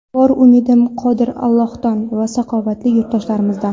Bor umidim Qodir Allohdan va saxovatli yurtdoshlarimizdan.